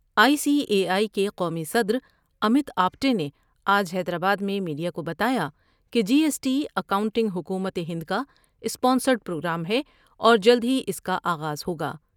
I C A I کے قومی صد رامت آپٹے نے آج حیدرآباد میں میڈیا کو بتایا کہ جی ایس ٹی اکاؤنٹنگ حکومت ہند کا اسپانسرڈ پروگرام ہے اور جلد ہی اس کا آغاز ہوگا ۔